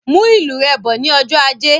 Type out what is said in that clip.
Mú ìlù rẹ bọ ní ọjọ ajé